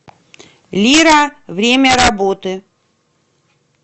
лира время работы